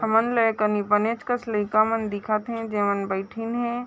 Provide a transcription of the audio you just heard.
हमन ले एकनि बनॆच कस लइका मन दिखत है जेवन बईठिन हे।